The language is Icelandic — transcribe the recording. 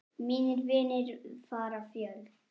Mínir vinir fara fjöld